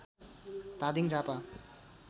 Dhading Jhapa